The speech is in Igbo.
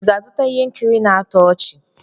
Ị ga-azụta ihe nkiri na-atọ ọchị?